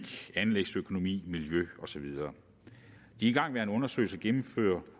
anlægsøkonomi miljø og så videre de igangværende undersøgelser gennemfører